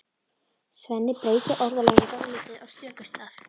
Svenni breytir orðalaginu dálítið á stöku stað.